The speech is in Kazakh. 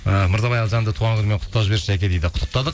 і мырзабай алжанды туған күнімен құттықтап жіберші жәке дейді құттықтадық